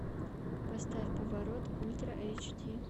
поставь поворот ультра эйч ди